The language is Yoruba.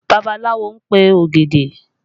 Babaláwo ń pe ògèdè